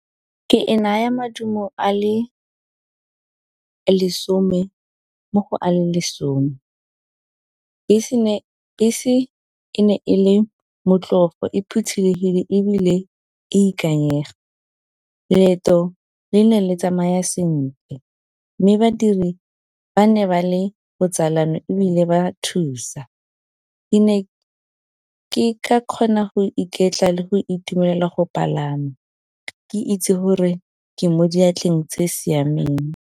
Ke e naya maduo a le lesome mo go a le lesome. Bese e ne e le motlhofo, e phothulogile ebile e ikanyega. Leeto le ne le tsamaya sentle mme badiri ba ne ba le botsalano ebile ba thusa. Ke ne ke ka kgona go iketla le go itumelela go palama ke itse gore ke mo diatleng tse siameng.